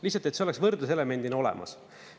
Lihtsalt, et see oleks võrdluselemendina olemas.